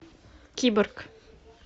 киборг